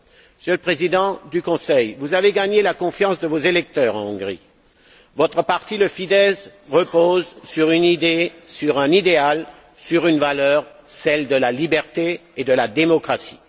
Monsieur le Président du Conseil, vous avez gagné la confiance de vos électeurs en Hongrie. Votre parti, le FIDESZ, repose sur une idée, sur un idéal, sur une valeur celle de la liberté et de la démocratie.